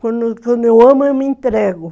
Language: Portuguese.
Quando eu amo, eu me entrego.